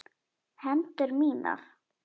Hendur mínar.